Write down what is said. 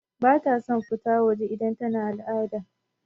Bata son fita waje idan tana al'ada.